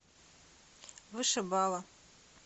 вышибала